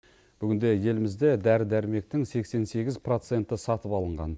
бүгінде елімізде дәрі дәрмектің сексен сегіз проценті сатып алынған